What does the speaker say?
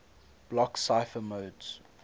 block cipher modes